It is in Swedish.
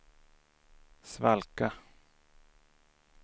svalka